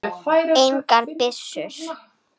Engar byssur.